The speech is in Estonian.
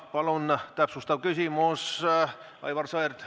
Palun täpsustav küsimus, Aivar Sõerd!